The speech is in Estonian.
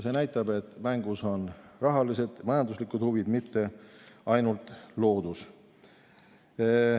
See näitab, et mängus on rahalised ja majanduslikud huvid, mitte ainult loodus.